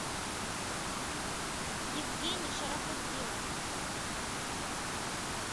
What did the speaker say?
евгений шарафутдинов